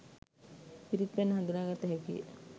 පිරිත් පැන් හඳුනා ගත හැකි ය.